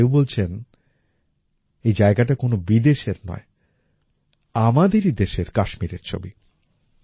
আবার কেউ বলছেন এই জায়গাটা কোনো বিদেশের নয় আমাদেরই দেশের কাশ্মীরের ছবি